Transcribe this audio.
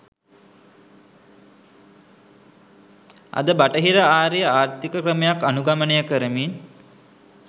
අද බටහිර ආරේ ආර්ථික ක්‍රමයක් අනුගමනය කරමින්